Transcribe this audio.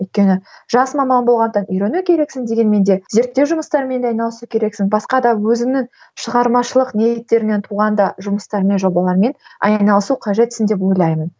өйткені жас маман болғаннан үйрену керексің дегенмен де зерттеу жұмыстармен де айналысу керексің басқа да өзіңнің шығармашылық ниеттермен туғанда жұмыстармен жобалармен айналысу кажетсің деп ойлаймын